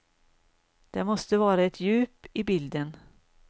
Det måste vara ett djup i bilden.